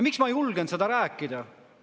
Miks ma julgen seda rääkida?